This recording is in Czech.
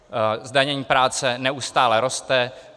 Zdanění práce neustále roste.